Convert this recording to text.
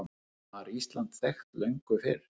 Var Ísland þekkt löngu fyrr?